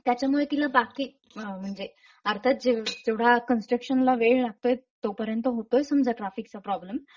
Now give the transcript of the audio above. त्याच्यामुळे तिला बाकी म्हणजे अर्थात जेवढा कंस्ट्रक्शनला वेळ लागतोय तोपर्यंत होतोय समजा ट्राफिक चा प्रोब्लेम;